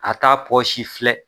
A t'a pɔsi filɛ.